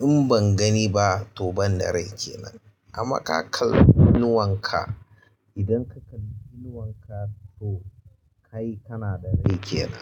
In ban gani ba to ban da rai kenan. Amma ka kalla inuwan ka, idan ka kal inuwan ka to kai kana da rai kenan.